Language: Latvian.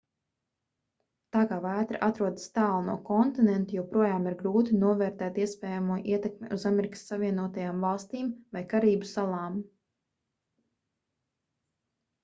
tā kā vētra atrodas tālu no kontinenta joprojām ir grūti novērtēt iespējamo ietekmi uz amerikas savienotajām valstīm vai karību salām